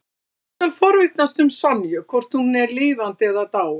Ég skal forvitnast um Sonju, hvort hún er lifandi eða dáin.